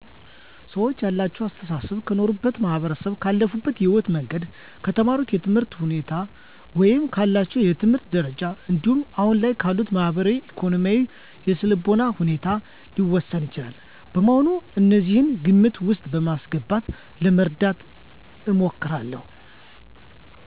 ሰወች ያላቸው አሰተሳሰብ ከኖሩበት ማህበረሰብ፣ ካለፉበት የህይወት መንገድ፣ ከተማሩት ትምህርት ወይም ካላቸው የትምህርት ደረጃ እንዲሁም አሁን ላይ ካሉበት ማህበራዊ፣ ኢኮኖሚያዊ እና የስነልቦና ሁኔታ ሊወሰን ይችላል። በመሆኑም እነዚህን ግምት ውስጥ በማስገባት ለመረዳት እሞክራለሁ።